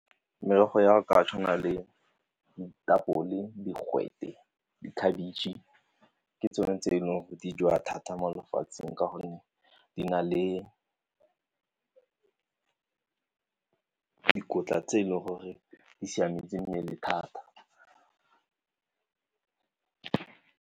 Merogo ya ka tshwana le ditapole, digwete, di khabetšhe ke tsone tse e leng gore di jewa thata mo lefatsheng ka gonne di na le dikotla tse e leng gore di siametse mmele thata.